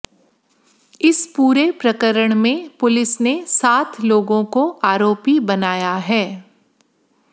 इस पूरे प्रकरण में पुलिस ने सात लोगों को आरोपी बनाया है